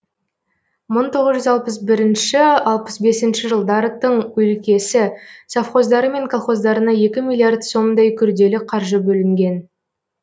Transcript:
мың тоғыз жүз алпыс бірінші алпыс бесінші жылдары тың өлкесі совхоздары мен колхоздарына екі миллиард сомдай күрделі қаржы бөлінген